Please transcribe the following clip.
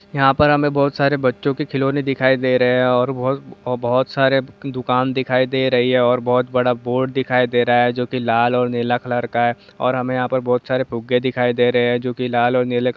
हमे यहाँ बहुत सारे बच्चो के खिलौना दिखाई दे रही है और बहु बहुत सारे दुकान दिखाई दे रहे है और बहुत बड़ा बोर्ड दिखाई दे रहा है जो की लाल और नीला कलर का है और यहां पर बहुत सारे फुग्गे है जो की लाल और नीले कलर के है।